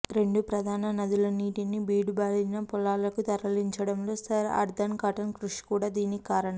రెండు ప్రధాన నదుల నీటిని బీడుబారిన పొలాలకు తరలించడంలో సర్ ఆర్థర్ కాటన్ కృషి కూడా దీనికి కారణం